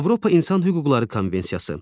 Avropa İnsan Hüquqları Konvensiyası.